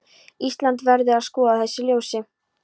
Íslandi, verður að skoða í þessu ljósi.